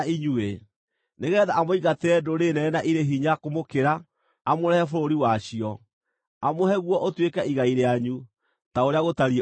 nĩgeetha amũingatĩre ndũrĩrĩ nene na irĩ hinya kũmũkĩra, amũrehe bũrũri wacio, amũhe guo ũtuĩke igai rĩanyu, ta ũrĩa gũtariĩ ũmũthĩ.